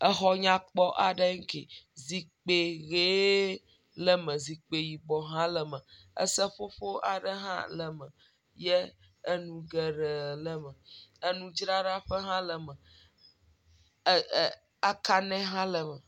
Exɔ nkpɔ aɖee ŋke. Zikpi ʋee le me. zikpi yibɔ hã le me. Eseƒoƒo aɖe hã le me ye enu geɖee le me enudzraɖaƒe hã le me ɛɛ ɛɛ akanɛ hã le me.